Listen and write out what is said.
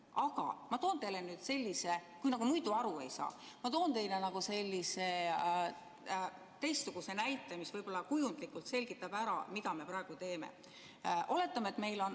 Aga ma toon teile, kui te muidu aru ei saa, teistsuguse näite, mis kujundlikult selgitab ära, mida me praegu teeme.